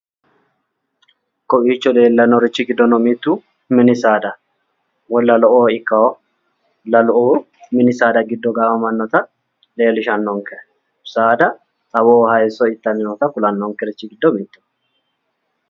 Kowiicho lellannorichi giddono mittu mini saada woyi lalo"oo ikka lalu'uu mini saada giddo gaamammanota leellishannonke saada xawoho haayiisso itanni noota kulannonkerichi giddo mittoho.